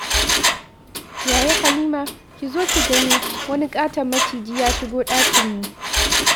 Yaya Halima, ki zo ki gani! Wani ƙaton maciji ya shigo dakinmu!